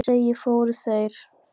Eins og áður segir, fóru þeir